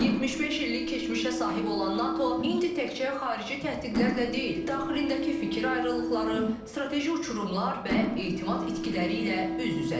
75 illik keçmişə sahib olan NATO indi təkcə xarici təhdidlərlə deyil, daxilindəki fikir ayrılıqları, strateji uçurumlar və etimad itkiləri ilə üz-üzədir.